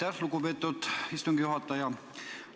Aitäh, lugupeetud istungi juhataja!